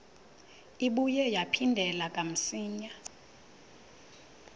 ibuye yaphindela kamsinya